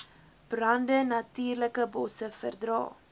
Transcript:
brande natuurlikebosse verdra